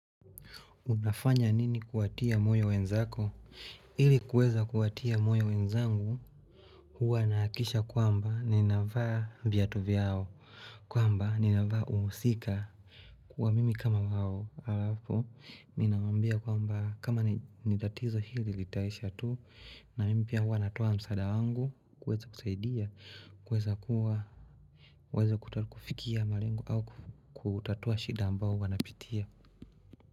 Unafanya nini kuwatia moyo wenzako? Ili kuweza kuwatia moyo wenzangu, huwa nahakikisha kwamba ninavaa viatu vyao. Kwamba ninavaa uhusika. Kuwa mimi kama wao. Halafu, ninawaambia kwamba kama ni tatizo hili litaisha tu. Na mimi pia huwa natoa msaada wangu. Kuweza kusaidia. Kuweza kuwa. Kuweza kufikia malengo au kutatua shida ambao huwa napitia.